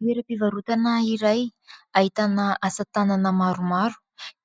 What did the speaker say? Toeram-pivarotana iray ahitana asa tanana maromaro